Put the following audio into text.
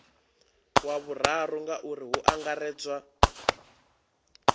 wa vhuraru ngauri hu angaredzwa